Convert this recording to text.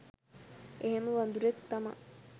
එහෙම වදුරෙක් තමා.